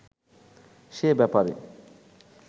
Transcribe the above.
সে ব্যাপারে